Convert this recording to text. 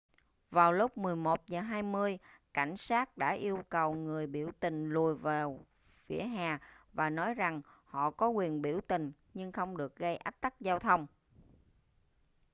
vào lúc 11:20 cảnh sát đã yêu cầu người biểu tình lùi vào vỉa hè và nói rằng họ có quyền biểu tình nhưng không được gây ách tắc giao thông